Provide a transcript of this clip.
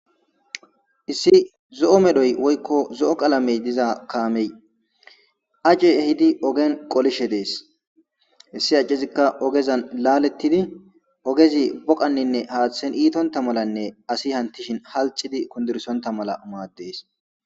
issi zo7o medhoy woykko zo7o qalamey diza kaamey ace ehidi ogen qolishe dees hissi accizikka ogezan laalettidi ogezi boqanninne haaththen iitonta malanne asi hantishin halxidi kundursonta mala umaadees